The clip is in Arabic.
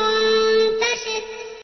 مُّنتَشِرٌ